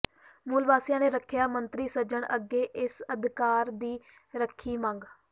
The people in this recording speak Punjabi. ਮੂਲ ਵਾਸੀਆਂ ਨੇ ਰੱਖਿਆ ਮੰਤਰੀ ਸੱਜਣ ਅੱਗੇ ਇਸ ਅਧਿਕਾਰ ਦੀ ਰੱਖੀ ਮੰਗ